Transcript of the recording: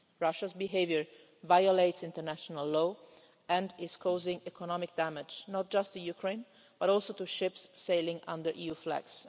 Russia's behaviour violates international law and is causing economic damage not just to Ukraine but also to ships sailing under EU flags.